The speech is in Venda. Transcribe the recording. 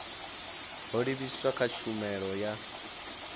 ho livhiswaho kha tshumelo ya